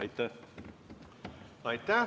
Aitäh!